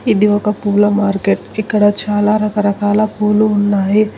ఇది ఒక పూల మార్కెట్ ఇక్కడ చాలా రకరకాల పూలు ఉన్నాయి.